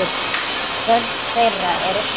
Börn þeirra eru fimm.